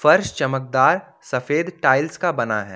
फर्श चमकदार सफेद टाइल्स का बना है।